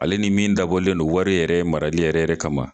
Ale ni min dabɔlen non wari yɛrɛ marali yɛrɛ yɛrɛ kama